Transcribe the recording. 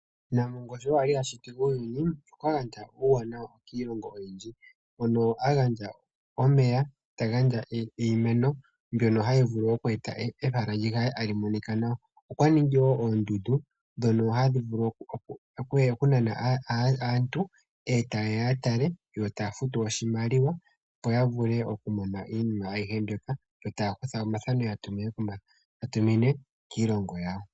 Nampongo sho a shiti uuyuni okwa gandja uuwanawa kiilongo oyindji hono a gandja omeya ta gandja iimeno mbyono hayi ningi ehala li kale tali monika nawa. Okwa ningi wo oondundu ndhono hadhi nana aantu e taye ya ya tale yo taa futu oshimaliwa, opo ya vule okumona iinima ayihe mbyoka yo taya kutha omathano ya tumine kiilongo yawo.